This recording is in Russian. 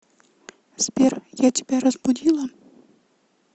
сбер я тебя разбудила